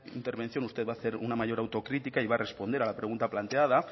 intervención usted va a hacer una mayor autocrítica y va responder a la pregunta planteada